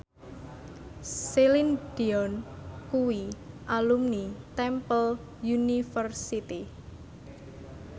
Celine Dion kuwi alumni Temple University